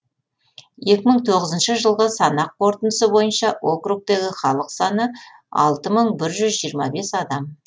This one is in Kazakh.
екі мың тоғызыншы жылғы санақ қорытындысы бойынша округтегі халық саны алты мың бір жүз жиырма бес адам